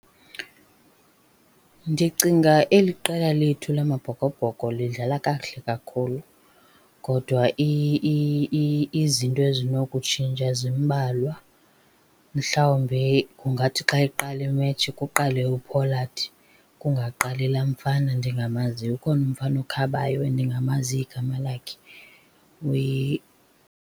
Ndicinga eli qela lethu lamaBhokoBhoko lidlala kakuhle kakhulu kodwa izinto ezinokutshintsha zimbalwa. Mhlawumbi kungathi xa iqala imetshi kuqale uPollard, kungaqali laa mfana ndingamaziyo. Ukhona umfana ukhabayo endingamaziyo igama lakhe .